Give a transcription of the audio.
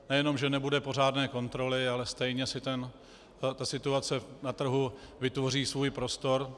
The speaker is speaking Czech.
Nejenom že nebude pořádné kontroly, ale stejně si ta situace na trhu vytvoří svůj prostor.